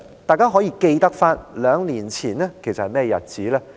大家可還記得兩年前是甚麼日子？